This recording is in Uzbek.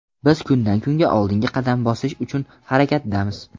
Biz kundan-kunga oldinga qadam bosish uchun harakatdamiz.